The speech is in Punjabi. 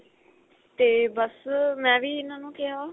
ਤੇ ਬੱਸ ਮੈਂ ਵੀ ਇਨ੍ਹਾਂ ਨੂੰ ਕਿਹਾ